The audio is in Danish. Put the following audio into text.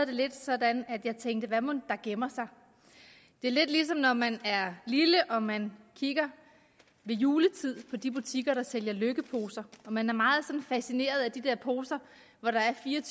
det lidt sådan at jeg tænkte hvad mon der gemmer sig det er lidt ligesom når man er lille og man ved juletid på de butikker der sælger lykkeposer man er meget fascineret af de her poser hvor der er fire og